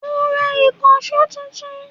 Mo ń rà ìkànsó tuntun